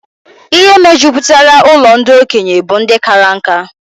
Ihe mejupụtara ụlọ ndị okenye bụ ndị kara nkà